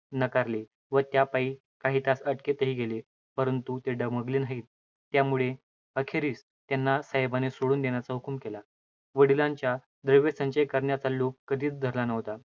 नकारले व त्यापायी काही तास अटकेतही राहिले. परंतु ते डगमगले नाहीत. त्यामुळे अस त्यांना साहेबाने सोडून देण्याचा हुकूम कला वडिलांनी द्रव्यसंचय करण्याचा लोभ कधीच धरला नव्हता